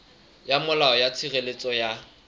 ya molao ya tshireletso ya